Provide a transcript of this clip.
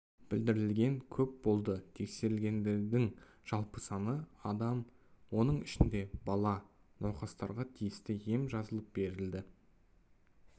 білдіргендер көп болды тексерілгендердің жалпы саны адам оның ішінде бала науқастарға тиісті ем жазылып берілді